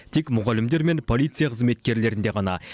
тек мұғалімдер мен полиция қызметкерлерінде ғана